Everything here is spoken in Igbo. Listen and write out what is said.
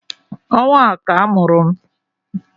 Ọnwa a ka a mụrụ m